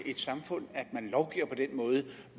i et samfund at man lovgiver på den måde